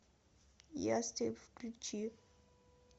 ястреб включи